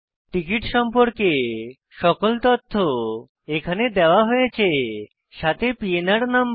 ticket সম্পর্কে সকল তথ্য এখানে দেওয়া হয়েছে সাথে পিএনআর নম্বর